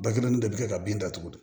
Da kelen de bɛ kɛ ka bin datugu